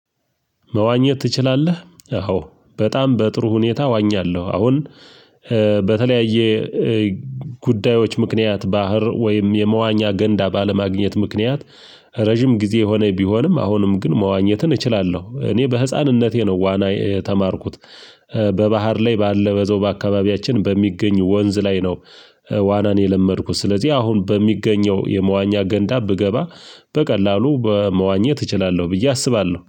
መዋኘት ትችላለህ? አዎ በጣም በጥሩ ሁኔታ እዋኛለሁ አሁን በተለያየ ጉዳዮች ምክንያት ባህር ወይም የመዋኛ ገንዳ ባለማግኘት ምክንያት ረጅም ጊዜ ሆነኝ ቢሆንም አሁንም ግን መዋኘትን እችላለሁ እኔ በህፃንነቴ ነው ዋና የተማርኩት በባህር ላይ ባለ በዛው በአካባቢያችን በሚገኝ ወንዝ ላይ ነው ዋናን የለመድኩት ስለዚህ አሁን በሚገኘው የመዋኛ ገንዳ ብገባ በቀላሉ በመዋኘት እችላለሁ ብዬ አስባለሁ